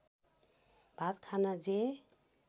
भात खान जे